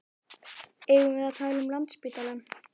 Eigum við að tala um Landspítalann?